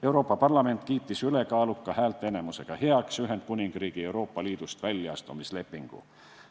Euroopa Parlament kiitis ülekaaluka häälteenamusega heaks Ühendkuningriigi Euroopa Liidust väljaastumise lepingu.